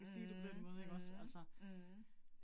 Mh mh mh